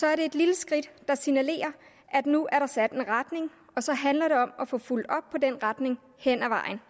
er det et lille skridt der signalerer at nu er der sat en retning og så handler det om at få fulgt op på den retning hen ad vejen